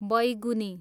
बैगुनी